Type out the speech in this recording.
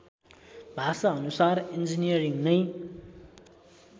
भाषाअनुसार engineering नै